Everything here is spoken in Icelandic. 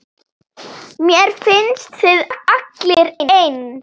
Mér finnst þið allir eins.